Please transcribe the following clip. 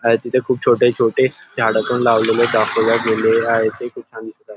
आहे तिथे खुप छोटे छोटे झाड पण लावलेले दाखवले गेले आहेत ते खूप छान दिसत आहे.